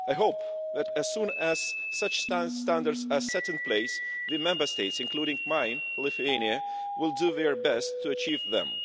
I hope that as soon as such standards are set in place the Member States, including mine, Lithuania, will do their best to achieve them